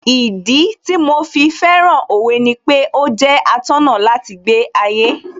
Ìdí tí mo fi fẹ́ràn Òwe ni pé ó jẹ́ atọ́nà láti gbé ayé